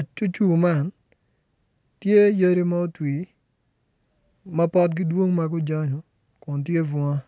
acucur man tye yadi ma otwi ma potgi dwong ma gujanyu kun tye bunga.